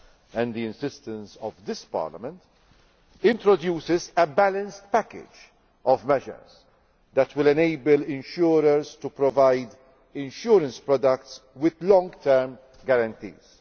and the insistence of this Parliament introduces a balanced package of measures that will enable insurers to provide insurance products with long term guarantees.